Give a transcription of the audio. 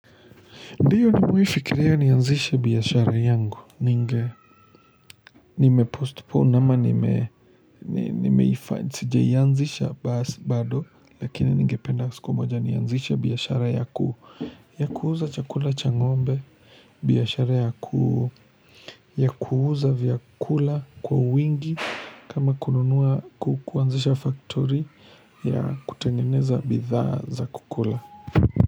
Ndiyo ni mewai fikiria nianzishe biashara yangu ninge. Nime post pond ama nimeifa sijaiyanzisha basi bado. Lakini ningependa siku moja nianzishe biyashara ya kuu. Ya kuuza chakula changombe. Biashara ya kuuza vyakula kwa wingi. Kama kununua kuanzisha faktori ya kutengeneza bidha za kukula.